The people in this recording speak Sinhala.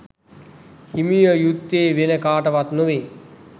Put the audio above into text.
හිමි විය යුත්තේ වෙන කාටවත් නොවේ